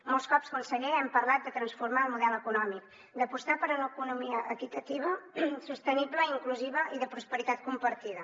molts cops conseller hem parlat de transformar el model econòmic d’apostar per una economia equitativa sostenible inclusiva i de prosperitat compartida